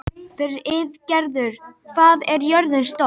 Friðgerður, hvað er jörðin stór?